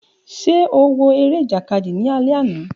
Ṣe o wo ere ijakadi ni alẹ ana?